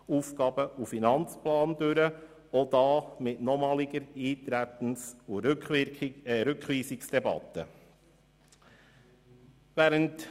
Auch hierzu findet nochmals eine Eintretens- und Rückweisungsdebatte statt.